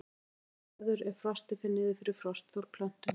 Frostkal verður ef frostið fer niður fyrir frostþol plöntunnar.